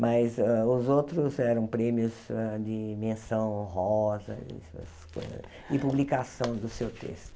Mas hã os outros eram prêmios hã de menção honrosa essas coisas e publicação do seu texto.